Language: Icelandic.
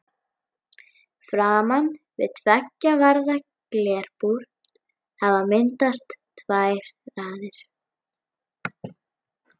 Framan við tveggja varða glerbúr hafa myndast tvær raðir.